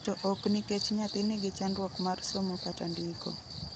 To oknikech nyathi nigi chandruok mar somo kata ndiko.